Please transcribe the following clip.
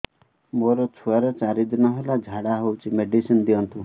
ମୋର ଛୁଆର ଚାରି ଦିନ ହେଲା ଝାଡା ହଉଚି ମେଡିସିନ ଦିଅନ୍ତୁ